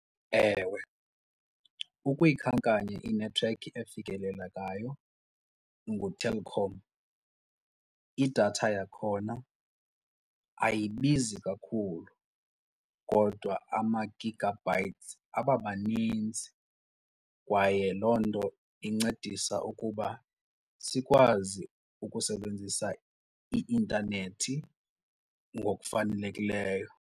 Ewe, ukuyikhankanya inethiwekhi efikelelekayo nguTelkom. Idatha yakhona ayibizi kakhulu kodwa ama-gigabytes abamaninzi kwaye loo nto incedisa ukuba sikwazi ukusebenzisa i-intanethi ngokufanelekileyo.